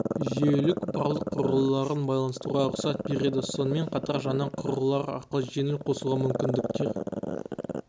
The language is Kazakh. жүйелік барлық құрылғыларын байланыстыруға рұқсат береді сонымен қатар жаңа құрылғылар арқылы жеңіл қосуға мүмкіндіктер